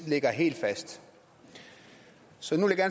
ligger helt fast så nu vil jeg